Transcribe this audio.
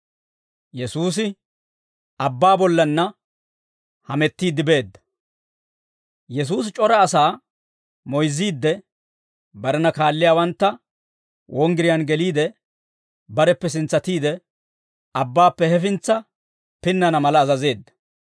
Yesuusi c'ora asaa moyzziidde, barena kaalliyaawantta wonggiriyaan geliide, bareppe sintsatiide, abbaappe hefintsa pinnana mala azazeedda.